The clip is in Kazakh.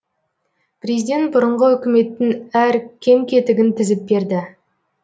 президент бұрынғы үкіметтің әр кем кетігін тізіп берді